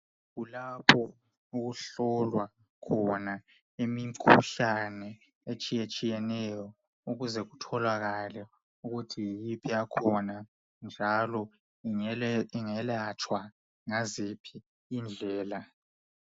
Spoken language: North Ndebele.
Kulapho okuhlolwa khona imikhuhlane etshiyetshiyeneyo ukuze kutholakele ukuthi yiyiphi yakhona njalo ingelatshwa ngaziphi indlela.